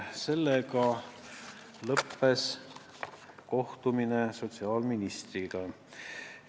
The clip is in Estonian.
Sellega kohtumine sotsiaalkaitseministriga lõppes.